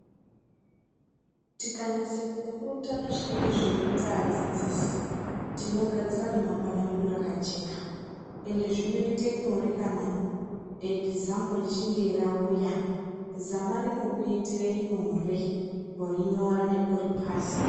Tikanyasa kupurutana zvinenge zveironza adzidzisi tinogadzira remangwana redu rakajeka ende zvinoita nyore kana ekizamu richinge rauya zama rino kuitira nyore kurinyora nekuripasa.